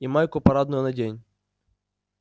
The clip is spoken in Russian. и майку парадную надень